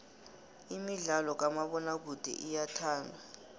imidlalo kamabonakude iyathandwa